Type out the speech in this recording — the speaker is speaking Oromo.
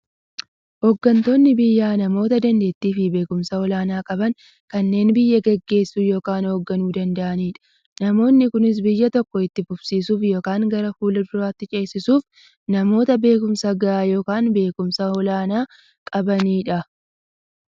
Hooggantoonni biyyaa namoota daanteettiifi beekumsa olaanaa qaban, kanneen biyya gaggeessuu yookiin hoogganuu danda'aniidha. Namoonni kunis, biyya tokko itti fufsiisuuf yookiin gara fuulduraatti ceesisuuf, namoota beekumsa gahaa yookiin beekumsa olaanaa qabaniidha.